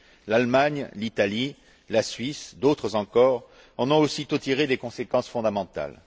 L'Allemagne, l'Italie, la Suisse et d'autres encore en ont aussitôt tiré des conséquences fondamentales.